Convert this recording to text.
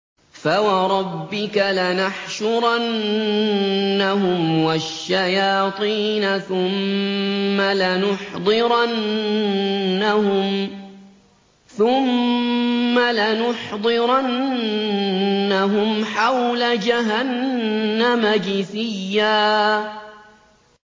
فَوَرَبِّكَ لَنَحْشُرَنَّهُمْ وَالشَّيَاطِينَ ثُمَّ لَنُحْضِرَنَّهُمْ حَوْلَ جَهَنَّمَ جِثِيًّا